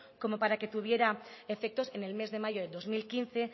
como para que tuvieran efectos en el mes de mayo de dos mil quince